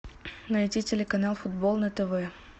найти телеканал футбол на тв